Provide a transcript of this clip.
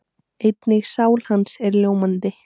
Einnig sál hans er ljómandi.